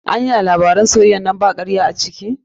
Anya labaran soyayyan nan ba karya a ciki?